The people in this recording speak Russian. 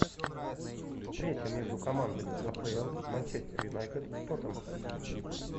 встреча между командами апл манчестер юнайтед тоттенхэм